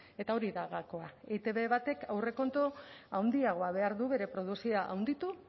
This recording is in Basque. eta hori da gakoa etb batek aurrekontu handiagoa behar du bere produkzioa handitu